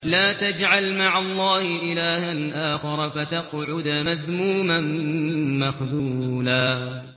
لَّا تَجْعَلْ مَعَ اللَّهِ إِلَٰهًا آخَرَ فَتَقْعُدَ مَذْمُومًا مَّخْذُولًا